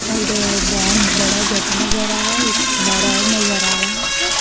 और बहोत बड़ा जगह नजर आ रहा है एक घर और नजर आ रहा है।